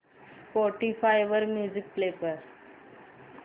Spotify वर music play कर